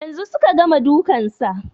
Yanzun suka gama dukan sa